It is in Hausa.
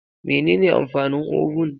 Mene ne amfanin oven?